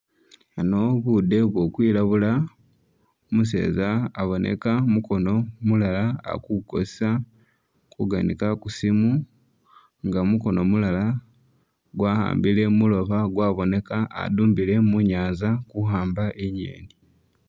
Ano bude buli kwilabula, umuseza aboneka mukono mulala ali kukozesa kuganika ku simu nga mukono mulala gwa'ambile mulooba gwaboneka adumbile munyaanza kuhamba i'ngeeni.